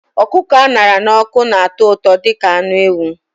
Ọkụkọ a ṅara n'ọkụ na-atọ ụtọ dị ka anụ ewu